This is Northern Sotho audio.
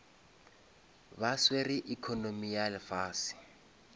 ba swere economy ya lefase